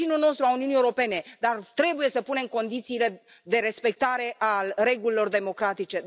Este vecinul nostru, al Uniunii Europene, dar trebuie să punem condițiile de respectare a regulilor democratice.